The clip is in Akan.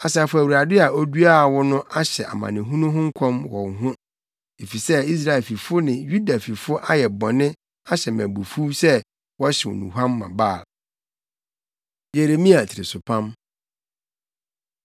Asafo Awurade a oduaa wo no ahyɛ amanehunu ho nkɔm wɔ wo ho, efisɛ Israel fifo ne Yuda fifo ayɛ bɔne ahyɛ me abufuw sɛ wɔhyew nnuhuam ma Baal. Yeremia Tirisopam